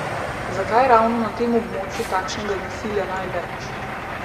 Zakaj je ravno na tem območju takšnega nasilja največ?